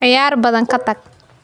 Ciyaar badan ka tag.